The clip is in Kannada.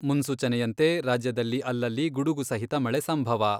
ಮುನ್ಸೂಚನೆಯಂತೆ ರಾಜ್ಯದಲ್ಲಿ ಅಲ್ಲಲ್ಲಿ ಗುಡುಗು ಸಹಿತ ಮಳೆ ಸಂಭವ.